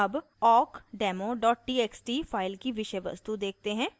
अब awkdemo txt file की विषय वस्तु देखते हैं